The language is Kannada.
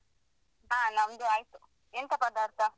ಹಾ ನಮ್ದು ಆಯ್ತು ಎಂತ ಪದಾರ್ಥ?